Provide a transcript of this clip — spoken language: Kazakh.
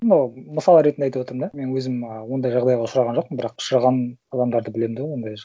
ну мысал ретінде айтып отырмын да мен өзім ы ондай жағдайға ұшыраған жоқпын бірақ ұшыраған адамдарды білемін да ондай